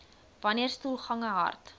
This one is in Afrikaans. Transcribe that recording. wanneer stoelgange hard